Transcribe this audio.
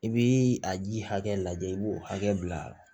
I bi a ji hakɛ lajɛ i b'o hakɛ bila